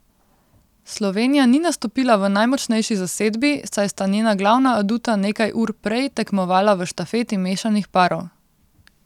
Slovenija ni nastopila v najmočnejši zasedbi, saj sta njena glavna aduta nekaj ur prej tekmovala v štafeti mešanih parov.